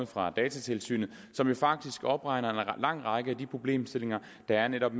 fra datatilsynet som jo faktisk opregner en lang række af de problemstillinger der netop